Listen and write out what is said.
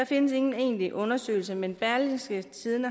findes ingen egentlige undersøgelser men berlingske